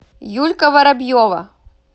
юлька воробьева